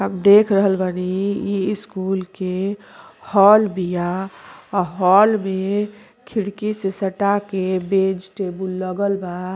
हम देख रहल बानी इ स्कूल के हॉल बिया और हॉल में खिड़की से सटा के बेंच टेबुल लागल बा --